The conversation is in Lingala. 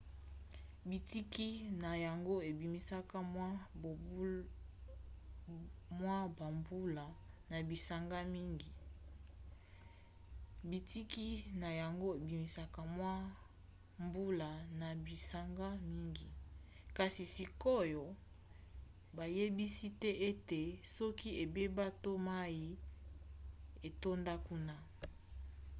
bitiki na yango ebimisaka mwa bambula na bisanga mingi kasi sikoyo bayebisi te ete soki ebeba to mai etonda kuna